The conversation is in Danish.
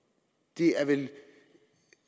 det er vel